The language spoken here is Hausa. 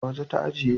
A waje ta ajiye